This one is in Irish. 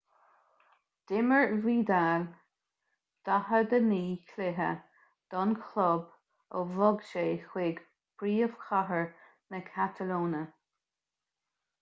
d'imir vidal 49 cluiche don chlub ó bhog sé chuig príomhchathair na catalóine